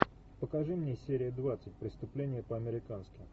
покажи мне серия двадцать преступление по американски